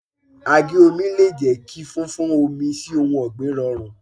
Àgé omi le jẹ́ kí fún fún omi sí ohun ọ̀gbìn rọrùn.